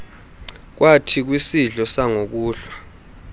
kwathi kwisidlo sangokuhlwa